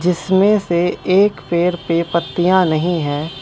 जिसमें से एक पेड़ पे पर पत्तियां नहीं हैं।